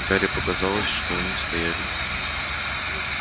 гарри показалось что они стояли